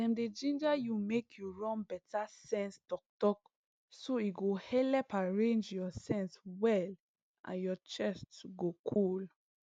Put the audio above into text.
dem dey ginger you make you run better sense talktalk so e go helep arrange your sense well and your chest go cool